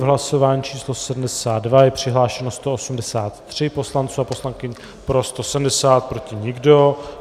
V hlasování číslo 72 je přihlášeno 183 poslanců a poslankyň, pro 170, proti nikdo.